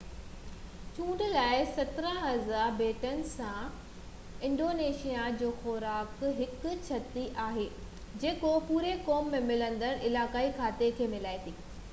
چونڊ لاءِ 17000 ٻيٽن سان انڊونيشيائي خوراڪ هڪ ڇٽي آهي جيڪو پوري قوم ۾ ملندڙ علائقائي کاڌي کي ملائي ٿي